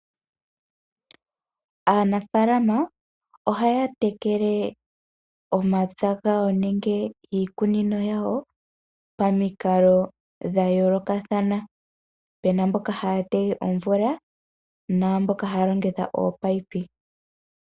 Aanafaalama ohaya tekele omapya gawo nenge iikunino yawo pamikalo dhayoolokathana. Opu na mboka haya tege omvula naamboka haya longitha ominino.